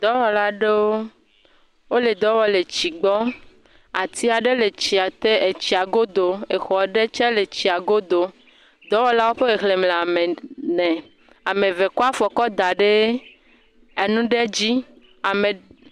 Dɔwɔwla aɖewo, wole dɔ wɔm le tsi gbɔ, ati aɖe le tsi te etsia godo, exɔ aɖe tse le etsia godo. Dɔwɔlawo ƒe xexlẽme le ame ek.., ene. Ame eve kɔ afɔ kɔ da enu ɖe dzi, ame…,